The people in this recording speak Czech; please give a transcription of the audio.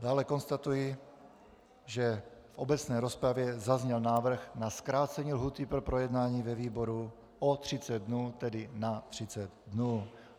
Dále konstatuji, že v obecné rozpravě zazněl návrh na zkrácení lhůty pro projednání ve výboru o 30 dnů, tedy na 30 dnů.